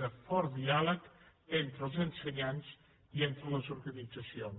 de fort diàleg entre els ensenyants i entre les organitzacions